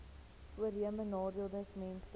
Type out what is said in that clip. voorheenbenadeeldesmense